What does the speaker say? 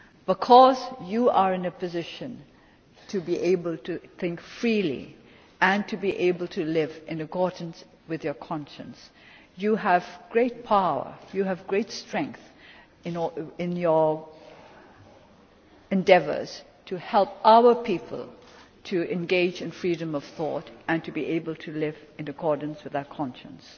Because you are in a position to be able to think freely and to be able to live in accordance with your conscience, you have great power, you have great strength in your endeavours to help our people to engage in freedom of thought and to be able to live in accordance with their conscience.